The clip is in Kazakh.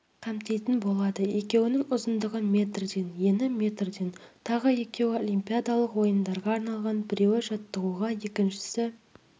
қамтитын болады екеуінің ұзындығы метрден ені метрден тағы екеуі олимпиадалық ойындарға арналған біреуі жаттығуға екіншісі